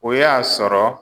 O y'a sɔrɔ